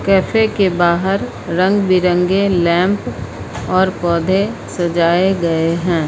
Cafe के बाहर रंग बिरंगे लैंप और पौधे सजाए गए हैं।